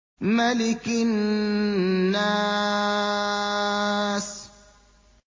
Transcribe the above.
مَلِكِ النَّاسِ